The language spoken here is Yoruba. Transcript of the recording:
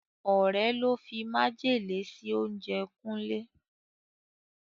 Ọ̀rẹ́ ló fi májèlé sí oúnjẹ Kúnlé.